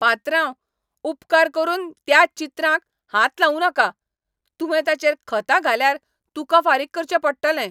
पात्रांव, उपकार करून त्या चित्रांक हात लावूं नाका! तुवें ताचेर खतां घाल्यार तुका फारीक करचे पडटलें.